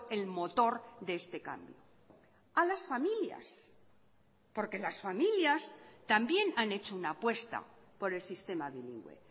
el motor de este cambio a las familias porque las familias también han hecho una apuesta por el sistema bilingüe